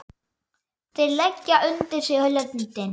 Þeir leggja undir sig löndin!